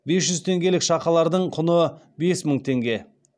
бес жүз теңгелік шақалардың құны бес мың теңге